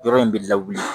Yɔrɔ in bɛ lawuli